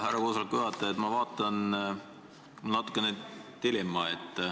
Härra koosoleku juhataja, ma vaatan, et on tekkinud dilemma.